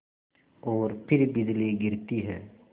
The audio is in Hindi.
और फिर बिजली गिरती है